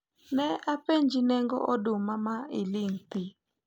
ne apenji nengo oduma ma iling thi